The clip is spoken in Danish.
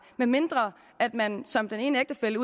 medmindre man som den ene ægtefælle